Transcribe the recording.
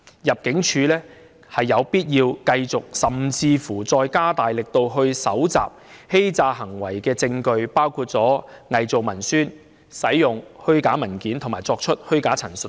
入境處有必要繼續，甚至加大力度搜集與假結婚相關的欺詐行為的證據，包括偽造文書、使用虛假文件及作出虛假陳述等。